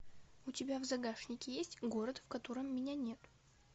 у тебя в загашнике есть город в котором меня нет